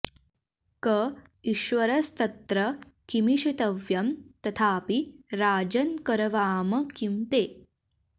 क ईश्वरस्तत्र किमीशितव्यं तथापि राजन् करवाम किं ते